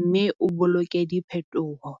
mme o boloke diphethoho.